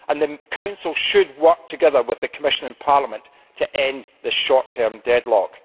The Council should work together with the Commission and Parliament to end this short term deadlock.